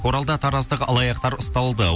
оралда тараздық алаяқтар ұсталды